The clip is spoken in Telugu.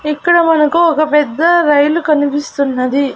ఇక్కడ మనకు ఒక పెద్ద రైలు కనిపిస్తున్నది.